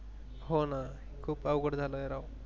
हो न खूपच अवघड झाल राव